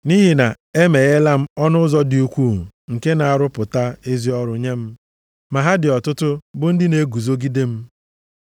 nʼihi na-emegheela ọnụ ụzọ dị ukwuu nke na-arụpụta ezi ọrụ nye m, ma ha dị ọtụtụ bụ ndị na-eguzogide m.